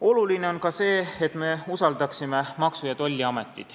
Oluline on ka see, et me usaldaksime Maksu- ja Tolliametit.